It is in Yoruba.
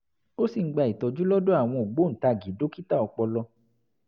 ó sì ń gba ìtọ́jú lọ́dọ̀ àwọn ògbóǹtagì dókítà ọpọlọ